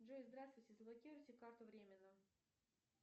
джой здравствуйте заблокируйте карту временно